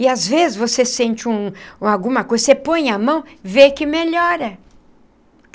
E às vezes você sente um alguma coisa, você põe a mão, vê que melhora.